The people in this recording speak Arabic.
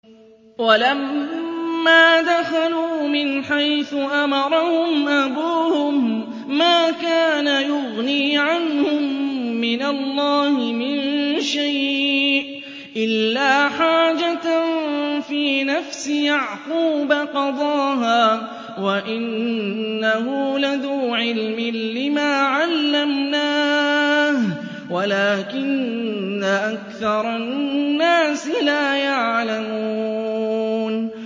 وَلَمَّا دَخَلُوا مِنْ حَيْثُ أَمَرَهُمْ أَبُوهُم مَّا كَانَ يُغْنِي عَنْهُم مِّنَ اللَّهِ مِن شَيْءٍ إِلَّا حَاجَةً فِي نَفْسِ يَعْقُوبَ قَضَاهَا ۚ وَإِنَّهُ لَذُو عِلْمٍ لِّمَا عَلَّمْنَاهُ وَلَٰكِنَّ أَكْثَرَ النَّاسِ لَا يَعْلَمُونَ